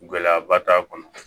Gɛlɛyaba t'a kɔnɔ